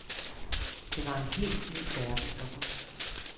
Det var en helt ny verden for ham.